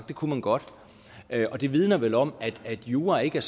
det kunne man godt det vidner vel om at jura ikke er